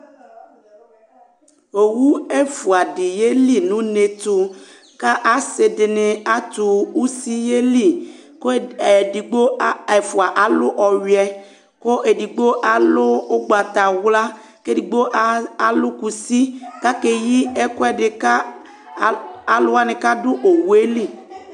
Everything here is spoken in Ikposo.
owʊ ɛfuaɖɩ ƴelɩ nʊne tʊ, ƙa asɩɖɩnɩ atʊ ʊsɩ ƴelɩ ƙʊ ɛfua alʊ ɔyuɛ ƙʊ eɖɩgɓo alʊ ʊgɓatawla ƙeɖɩgɓo alʊ ƙʊsɩ ƙaƙeƴɩ ɛƙuɛɖɩ ƙa alʊwanɩ ƙaɖʊ owelɩ